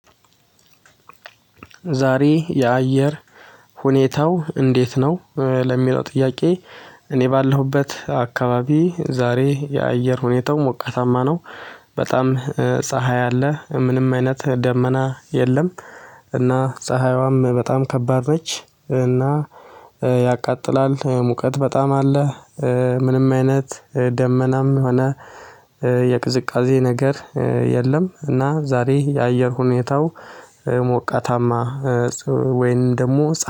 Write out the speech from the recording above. ዛሬ የአየር ሁኔታው እንዴት ነው? ለሚለው ጥያቄ እኔ ባለሁበት አካባቢ ዛሬ የአየር ሁኔታው ሞቃታማ ነው። በጣም ፀሀይ አለ ምንም አይነት ደመና የለም። እና ፀሀይዋም በጣም ከባድ ነች እና ያቃጥላል ሙቀት በጣም አለ። ምንም አይነት ደመናም ሆነ የቅዝቃዜ ነገር የለም እና ዛሬ የአየር ሁኔታው ሞቃታማ። ወይም ደግሞ